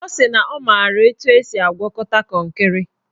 Ọ sị na ọ mara etu esi agwakọta kọnkịrị